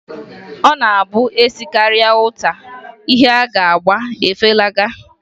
Ọ na-abụ e sekarịa uta, ihe a ga-agba efelaga.